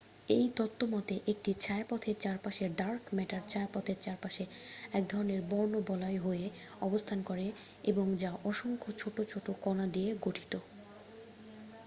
এই তত্ত্ব মতে একটি ছায়াপথের চারপাশের ডার্ক ম্যাটার ছায়াপথের চারপাশে এক ধরণের বর্ণবলয় হয়ে অবস্থান করে এবং যা অসংখ্য ছোট ছোট কণা দিয়ে গঠিত